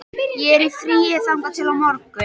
Ég er í fríi þangað til á morgun.